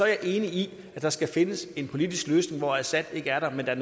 jeg enig i at der skal findes en politisk løsning hvor assad ikke er der men der